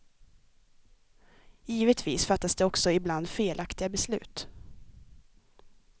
Givetvis fattas det också ibland felaktiga beslut.